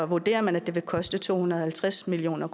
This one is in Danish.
vurderer man at det vil koste to hundrede og halvtreds million